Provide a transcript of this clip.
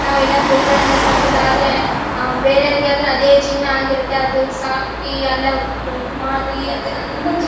ನಾವ್ ಎಲ್ಲಾ ಕುರಿಗಳೆಲ್ಲಾ ಸಾಕಿಲ್ಲಾ ಆದ್ರೆ ಅಹ್ ಬೇರೆಯವರಿಗೆ ಆದ್ರೆ ಅದೇ ಜೀವನ ಆಗಿರತ್ತೆ ಅದನ್ನ ಸಾಕಿ ಅಲ್ಲೇ ಮಾರಿ ಅದ್ ಅದ್ರಿಂದ ಜೀವನ--